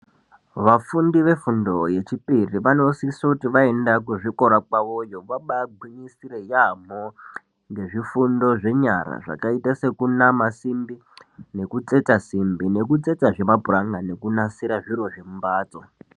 Vafundi vefundo yechipiri vanosise kuti vaende kuzvikora kwavoyo vabaagwinyisire yaambo ngezvifundo zvenyara zvakaita sekunama simbi nekutsetsa simbi nekutsetsazve mapuranga nekunasira zviro zvemumbatso.